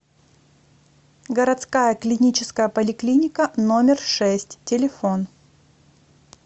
городская клиническая поликлиника номер шесть телефон